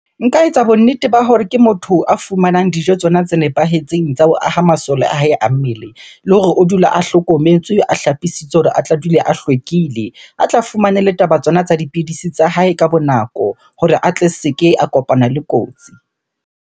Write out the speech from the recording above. Nka etsa bonnete ba hore ke motho a fumanang dijo tsona tse nepahetseng tsa ho aha masole a hae a mmele. Le hore o dula a hlokometswe, a hlapisitswe hore a tle a dule a hlwekile. A tla fumane le taba tsona tsa dipidisi tsa hae ka bo nako hore a tle a se ke a kopana le kotsi.